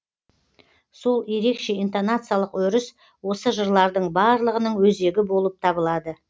сол ерекше интонациялық өріс осы жырлардың барлығының өзегі болып табылады